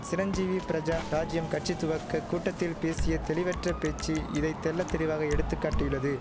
சிரஞ்சீவி பிரஜா ராஜ்யம் கட்சி துவக்க கூட்டத்தில் பேசிய தெளிவற்றப் பேச்சு இதை தெள்ளத்தெளிவாக எடுத்து காட்டியுள்ளது